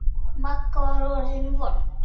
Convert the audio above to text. Magga var orðin vond.